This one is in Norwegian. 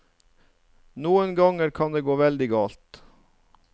Noen ganger kan det gå veldig galt.